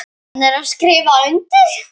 Nennirðu að skrifa undir?